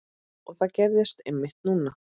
Og það gerðist einmitt núna!